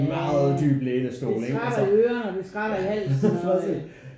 Jah det skratter i ørene og det skratter i halsen og øh